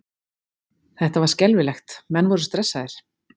Þetta var skelfilegt, menn voru stressaðir.